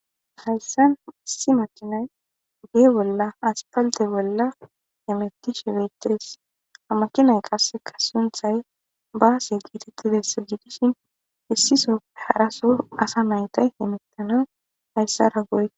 Hayssan issi machinay uddi bolla aspalte bolla emettishi peyttees a makinay qasseka sunthay baase geetettidessa jjigishin issiso haraso asa maytay himittana hayssara goy.